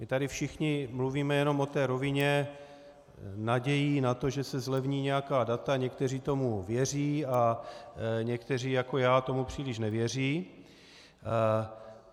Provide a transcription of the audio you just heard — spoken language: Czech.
My tady všichni mluvíme jenom o té rovině nadějí na to, že se zlevní nějaká data, někteří tomu věří a někteří, jako já, tomu příliš nevěří.